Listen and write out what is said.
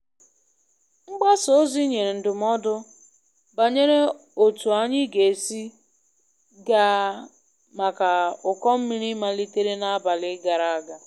Mgbasa ozi nyere ndụmọdụ banyere otu anyi ga esi ga maka ụkọ mmiri malitere n'abalị gara aga.